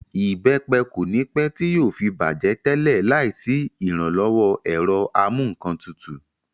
Ìbẹ́pẹ kò ní pẹ́ tí yóò fi bàjẹ́ tẹ́lẹ̀ láì sí ìrànlọ́wọ́ ẹ̀rọ amúǹkantutù